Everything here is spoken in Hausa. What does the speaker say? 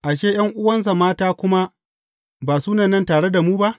Ashe, ’yan’uwansa mata kuma ba suna nan tare da mu ba?